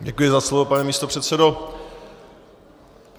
Děkuji za slovo, pane místopředsedo.